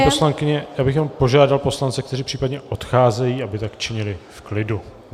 Paní poslankyně, já bych jen požádal poslance, kteří případně odcházejí, aby tak činili v klidu.